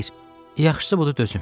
xeyr, yaxşısı budur dözüm.